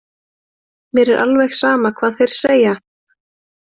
Mér er alveg sama hvað þeir segja.